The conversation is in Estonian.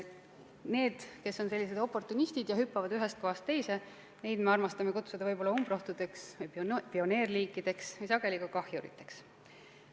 Neid liike, kes on sellised oportunistid ja hüppavad ühest kohast teise, me armastame kutsuda umbrohtudeks, pioneerliikideks ja sageli ka kahjuriteks.